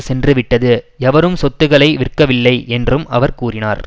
சென்று விட்டது எவரும் சொத்துக்களை விற்கவில்லை என்றும் அவர் கூறினார்